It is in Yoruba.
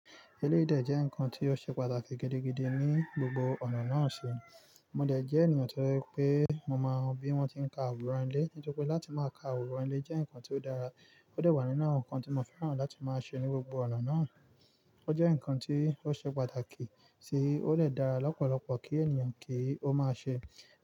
Eléyìí dẹ̀ jẹ́ nǹkan tí ó ṣe pàtàkì gidigidi ní gbogbo ọ̀nà náà síi. Mo dẹ̀ jẹ́ ènìyàn tó jẹ́ pé mo máa ń wo bí wọ́n ti ń ka àwòrán ilé, nítorí pé láti máa ka àwòrán ilé jẹ́ nǹkan tí ó dára. Ó dẹ̀ wà nínú àwọn nǹkan tí mo fẹ́ràn láti máa ṣe ní gbogbo ọ̀nà náà. Ó jẹ́ nǹkan tí ó ṣe pàtàkì tí ó dẹ̀ dára lọ́pọ̀lọpọ̀ kí ènìyàn kí ó máa ṣe.